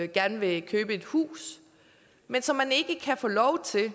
gerne vil købe et hus men som ikke kan få lov til at